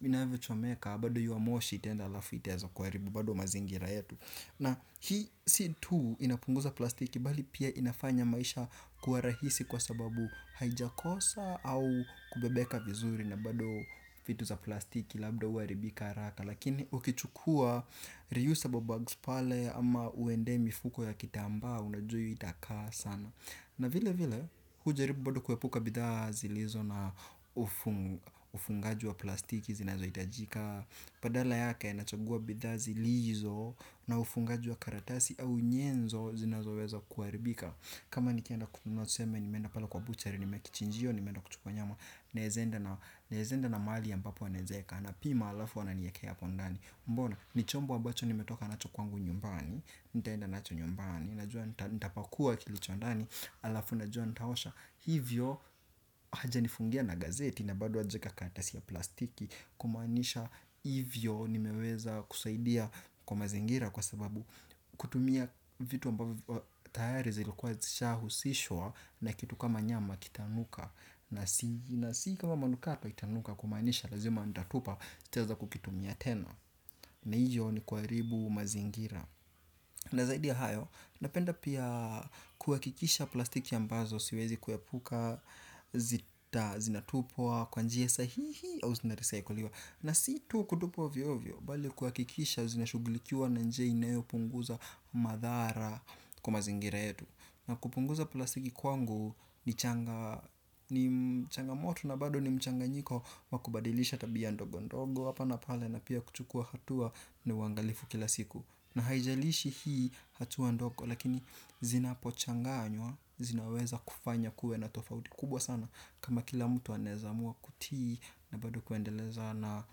inavyo chomeka bado hio moshi itaenda alafu itaeza kuharibu bado mazingira yetu. Na hii si tu inapunguza plastiki bali pia inafanya maisha kuwa rahisi kwa sababu haijakosa au kubebeka vizuri. Na bado vitu za plastiki labda huaribika haraka. Lakini ukichukua reusable bags pale ama uende mifuko ya kitamba. Unajua hio itakaa sana. Na vile vile hujaribu bado kuepuka bidha zilizo na ufungaji wa plastiki zinazo itajika badala yake nachagua bidha zilizo na ufungaji wa karatasi au nyenzo zinazo weza kuharibika. Kama nikienda kununua tuseme nimeenda pale kwa buchari nimekichinjio nimeenda kuchukua nyama naeza enda na mali ambapo anaeza eka anapima alafu ananiekea hapo ndani mbona, nichombo ambacho nimetoka nacho kwangu nyumbani, nitaenda nacho nyumbani na jua nitapakua kilicho ndani alafu na jua nitaosha hivyo haja nifungia na gazeti na bado hajaeka karatasi ya plastiki kumanisha hivyo nimeweza kusaidia kwa mazingira kwa sababu kutumia vitu ambavyo viko tayari zilikuwa zishahusishwa na kitu kama nyama kitanuka. Na si kama manukato itanuka kumanisha. Lazima ndatupa sitaeza kukitumia tena na hiyo ni kuharibu mazingira. Na zaidi ya hayo. Napenda pia kuhakikisha plastiki ambazo siwezi kuepuka zita zinatupwa kwa njia sahihi. Au zinarecycliwa. Na si tu kutupwa ovyo ovyo bali kuhakikisha zinashughulikiwa na njia inayo punguza madhara kwa mazingira yetu. Na kupunguza plastiki kwangu ni mchangamoto na bado ni mchanganyiko wakubadilisha tabia ndogo ndogo hapa na pale na pia kuchukua hatua ni uangalifu kila siku na haijalishi hii hatua ndogo lakini zinapo changanywa zinaweza kufanya kuwe na tofauti kubwa sana kama kila mtu anaeza amua kutii na bado kuendeleza na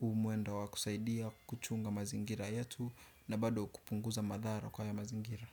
humwendo wakusaidia kuchunga mazingira yetu na bado kupunguza madhara kwa haya mazingira.